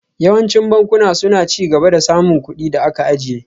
Yawancin bankuna suna ci gaba da samun kuɗin da aka ajiye